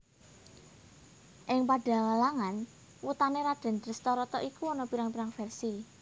Ing padhalangan wutané Radèn Dhestharata iku ana pirang pirang versi